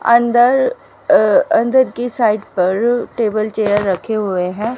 अंदर अअ अंदर की साइड पर टेबल चेयर रखे हुए हैं।